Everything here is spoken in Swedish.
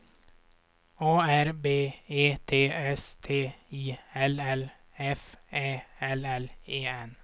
A R B E T S T I L L F Ä L L E N